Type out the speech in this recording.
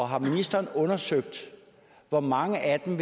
har ministeren undersøgt hvor mange af dem